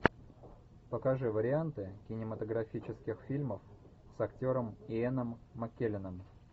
покажи варианты кинематографических фильмов с актером иэном маккелленом